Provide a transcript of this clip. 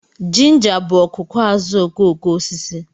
Ginger bụ ọkụkụ azuokokoosisi